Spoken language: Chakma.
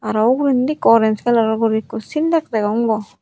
aro ugurendi ikko orange kalaror guri ikko syntex degong bo.